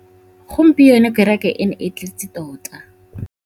Gompieno kêrêkê e ne e tletse tota.